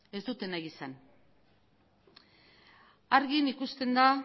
ez dute nahi izan argi ikusten da